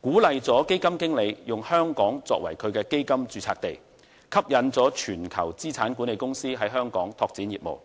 鼓勵了基金經理以香港作為其基金註冊地，吸引全球資產管理公司在香港拓展業務。